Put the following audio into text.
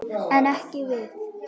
En ekki við.